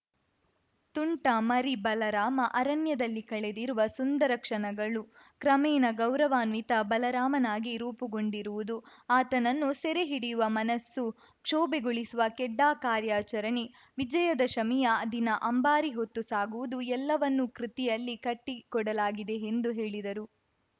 ತುಂಟ ಮರಿ ಬಲರಾಮ ಅರಣ್ಯದಲ್ಲಿ ಕಳೆದಿರುವ ಸುಂದರ ಕ್ಷಣಗಳು ಕ್ರಮೇಣ ಗೌರವಾನ್ವಿತ ಬಲರಾಮನಾಗಿ ರೂಪುಗೊಂಡಿರುವುದು ಆತನನ್ನು ಸೆರೆ ಹಿಡಿಯುವ ಮನಸ್ಸು ಕ್ಷೋಭೆಗೊಳಿಸುವ ಖೆಡ್ಡಾ ಕಾರ್ಯಾಚರಣೆ ವಿಜಯದಶಮಿಯ ದಿನ ಅಂಬಾರಿ ಹೊತ್ತು ಸಾಗುವುದು ಎಲ್ಲವನ್ನೂ ಕೃತಿಯಲ್ಲಿ ಕಟ್ಟಿಕೊಡಲಾಗಿದೆ ಎಂದು ಹೇಳಿದರು